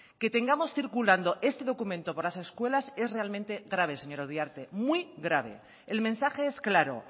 que tengamos circulando este documento por las escuelas es realmente grave señora uriarte muy grave el mensaje es claro